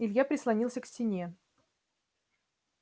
илья прислонился к стене